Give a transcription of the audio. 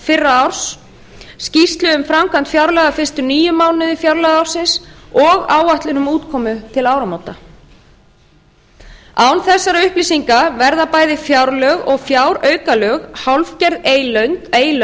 fyrra árs skýrslu um framkvæmd fjárlaga fyrstu níu mánuði fjárlagaársins og áætlun um útkomu til áramóta án þessara upplýsinga verða bæði fjárlög og fjáraukalög hálfgerð